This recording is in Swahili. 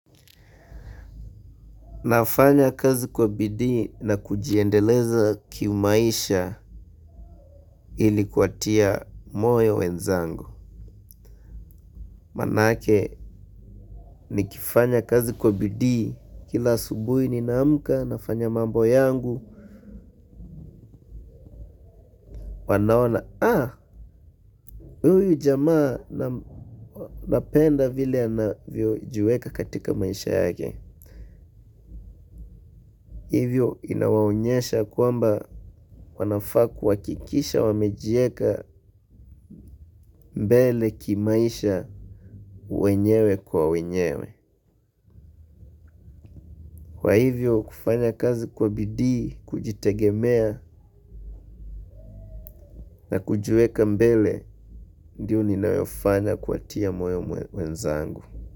Nafanya kazi kwa bidii na kujiendeleza kimaisha ili kuwatia moyo wenzangu. Maana yake nikifanya kazi kwa bidii kila asubuhi naamka nafanya mambo yangu wanaona huyu jamaa napenda vile anavyojiweka katika maisha yake. Hivyo inawaonyesha kwamba wanafaa kuhakikisha wamejieka mbele kimaisha wenyewe kwa wenyewe. Kwa hivyo kufanya kazi kwa bidi, kujitegemea na kujieka mbele, ndiyo ninayofanya kuwatia moyo wenzangu.